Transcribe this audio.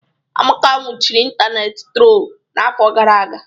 Amaka nwụchiri ịntanetị trol n'afọ gara aga.